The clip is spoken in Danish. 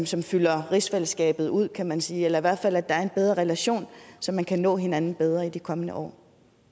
som fylder rigsfællesskabet ud kan man sige eller hvert fald er en bedre relation så man kan nå hinanden bedre i de kommende år